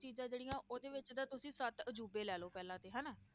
ਚੀਜ਼ਾਂ ਜਿਹੜੀਆਂ ਉਹਦੇ ਵਿੱਚ ਤਾਂ ਤੁਸੀਂ ਸੱਤ ਅਜ਼ੂਬੇ ਲੈ ਲਓ ਪਹਿਲਾਂ ਤੇ ਹਨਾ,